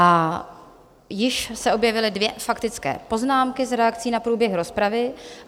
A již se objevily dvě faktické poznámky s reakcí na průběh rozpravy.